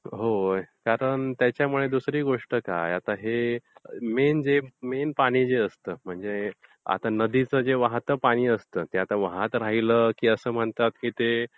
होय. कारण त्याच्यामुळे आता दुसरी गोष्ट काय आता हे मेन पाणी जे असते, म्हणजे नदीचे जे वाहते पाणी असते त्यात ते वाहत राहिलं की असं म्हणतात की ते